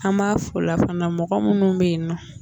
An b'a f'o la fana mɔgɔ minnu bɛ yen nɔ